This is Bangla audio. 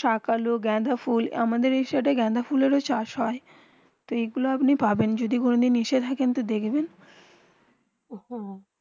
সাক আলু গেন্ডা ফোলা আমাদের আয়ের সাথে গেন্দাফয়ল এর চাষ হয়ে তো যে গুলু আপনি পাবেন যদি কোনো দিন নিজে থাকবেন তো দেখবেন, হেঁ হেঁ